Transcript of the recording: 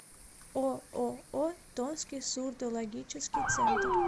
ооо томский сурдологический центр